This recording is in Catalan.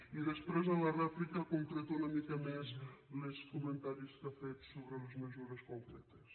i després en la rèplica concreto una mica més els comentaris que ha fet sobre les mesures concretes